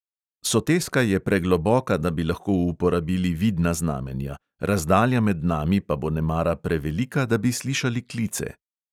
Soteska je pregloboka, da bi lahko uporabili vidna znamenja, razdalja med nami pa bo nemara prevelika, da bi slišali klice.